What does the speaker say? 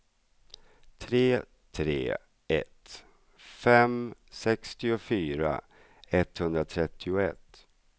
tre tre ett fem sextiofyra etthundratrettioett